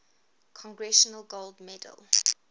congressional gold medal